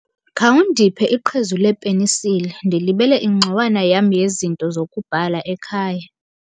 Khawundiphe iqhezu lepenisile, ndilibele ingxowana yam yezinto zokubhala ekhaya.